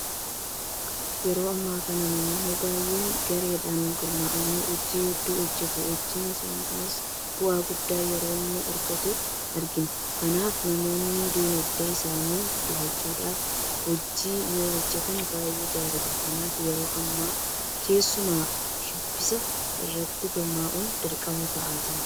Yeroo ammaa kana namoonni baay'een gareedhaan gurmaa'anii hojii hedduu hojjetu. Hojiin isaanii kunis bu'aa guddaa yeroo inni argatu argina. Kanaaf namoonni diinagdee isaanii guddifachuudhaaf wajjin yoohojjetan baay'ee gaariidha. Kanaaf yeroo ammaa keessumaa shubbisa irratti gurmaa'uun dirqama ta'aa jira.